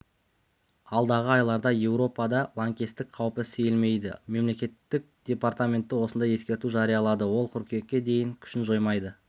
алдағы айларда еуропада лаңкестік қаупі сейілмейді мемлекеттік департаменті осындай ескерту жариялады ол қыркүйекке дейін күшін жоймайды